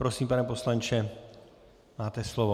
Prosím, pane poslanče, máte slovo.